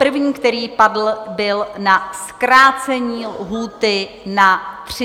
První, který padl, byl na zkrácení lhůty na 30 dní.